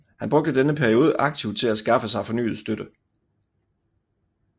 Han brugte denne periode aktivt til at skaffe sig fornyet støtte